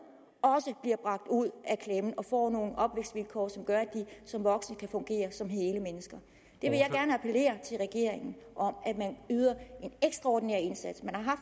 også bliver bragt ud af klemmen og får nogle opvækstvilkår som gør at de som voksne kan fungere som hele mennesker jeg vil gerne appellere til regeringen om at man yder en ekstraordinær indsats man har